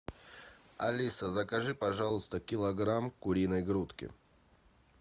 алиса закажи пожалуйста килограмм куриной грудки